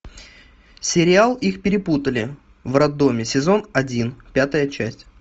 сериал их перепутали в роддоме сезон один пятая часть